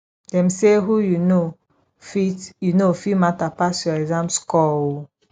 dem say who you know fit you know fit matter pass your exam score o